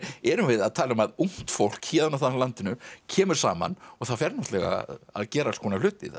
erum við að tala um að ungt fólk á landinu kemur saman og það fer náttúrulega að gera alls konar hluti